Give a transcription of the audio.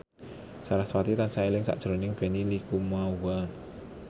sarasvati tansah eling sakjroning Benny Likumahua